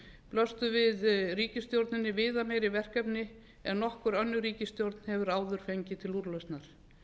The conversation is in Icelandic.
blöstu við ríkisstjórninni viðameiri verkefni en nokkur önnur ríkisstjórn hefur áður fengið til úrlausnar